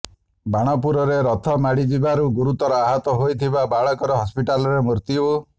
ବାଣପୁରରେ ରଥ ମାଡିଯିବାରୁ ଗୁରୁତର ଆହତ ହୋଇଥିବା ବାଳକର ହସ୍ପିଟାଲରେ ମୃତ୍ୟୁ